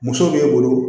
Muso b'e bolo